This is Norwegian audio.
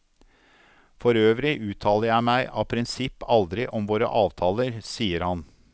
For øvrig uttaler jeg meg av prinsipp aldri om våre avtaler, sier han.